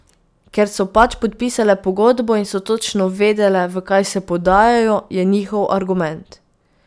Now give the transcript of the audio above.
Ker so pač podpisale pogodbo in so točno vedele, v kaj se podajajo, je njihov argument.